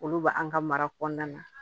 Olu bɛ an ka mara kɔnɔna na